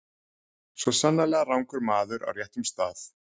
Svo sannarlega rangur maður á réttum stað.